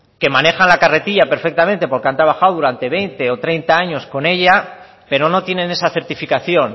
que manejan la carretilla perfectamente porque han trabajado durante veinte o treinta años con ella pero no tienen esa certificación